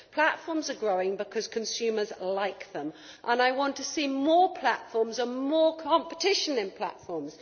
Platforms are growing because consumers like them, and I want to see more platforms, and more competition in platforms.